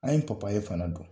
An yepapaye fana don